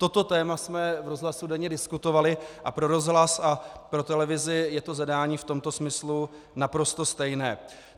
Toto téma jsme v rozhlase denně diskutovali a pro rozhlas a pro televizi je to zadání v tomto smyslu naprosto stejné.